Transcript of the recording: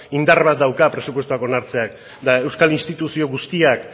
indar bat dauka presupuestoak onartzeak eta euskal instituzio guztiak